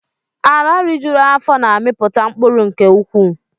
Ala rijuru afọ na-amiputa mkpụrụ nke ukwuu